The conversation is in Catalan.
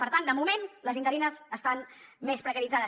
per tant de moment les interines estan més precaritzades